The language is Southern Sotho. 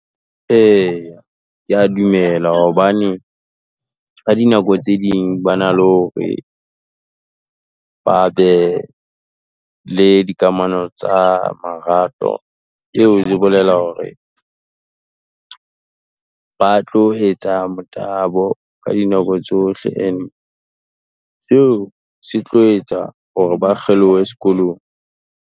Eya, kea dumela hobane, ka dinako tse ding ba na le hore, ba be le dikamano tsa marato, eo e bolela hore ba tlo etsa motabo ka dinako tsohle and, seo setlo etsa hore ba kgelohe sekolong.